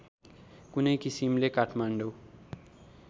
कुनै किसिमले काठमाडौँ